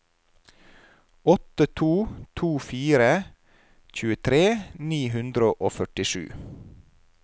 åtte to to fire tjuetre ni hundre og førtisju